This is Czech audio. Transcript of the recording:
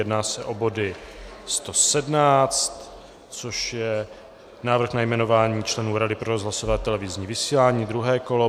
Jedná se o body 117, což je Návrh na jmenování členů Rady pro rozhlasové a televizní vysílání, druhé kolo.